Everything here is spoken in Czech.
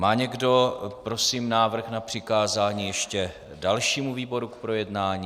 Má někdo prosím návrh na přikázání ještě dalšímu výboru k projednání?